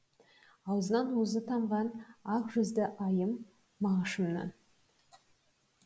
аузынан уызы тамған ақ жүзді айым мағышымнан